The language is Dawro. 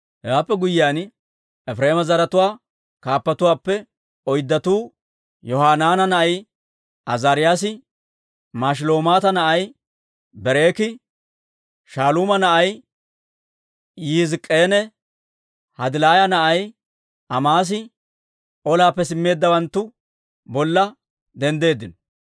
Hewaappe guyyiyaan, Efireema zaratuwaa kaappatuwaappe oyddatuu, Yohanaana na'ay Azaariyaasi, Mashilemoota na'ay Berekii, Shaaluuma na'ay Yihizk'k'enne Hadilaaya na'ay Amaasi olaappe simmeeddawanttu bolla denddeeddino.